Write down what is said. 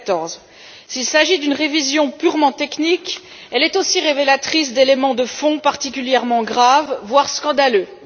2014. S'il s'agit d'une révision purement technique, elle est aussi révélatrice d'éléments de fond particulièrement graves, voire scandaleux.